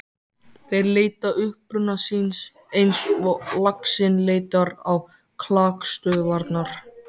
Þeir leita uppruna síns eins og laxinn leitar á klakstöðvarnar.